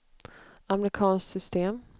amerikanskt system